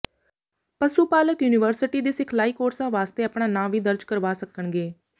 ਪਸੂ ਪਾਲਕ ਯੂਨੀਵਰਸਿਟੀ ਦੇ ਸਿਖਲਾਈ ਕੋਰਸਾਂ ਵਾਸਤੇ ਆਪਣਾ ਨਾਂ ਵੀ ਦਰਜ ਕਰਵਾ ਸਕਣਗੇ